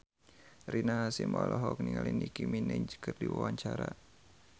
Rina Hasyim olohok ningali Nicky Minaj keur diwawancara